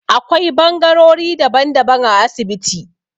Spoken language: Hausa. Akwai bangarori daban-daban a asibiti